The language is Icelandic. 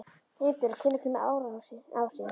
Einbjörg, hvenær kemur ásinn?